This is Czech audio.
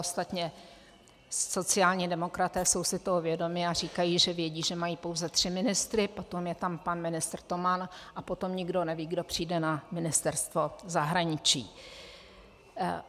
Ostatně sociální demokraté jsou si toho vědomi a říkají, že vědí, že mají pouze tři ministry, potom je tam pan ministr Toman a potom nikdo neví, kdo přijde na ministerstvo zahraničí.